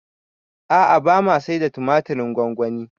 A'a bama saida tumatirin gwangwani